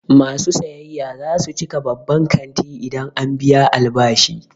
Masu sayayya za su cika babban kantin idan an biya albashi.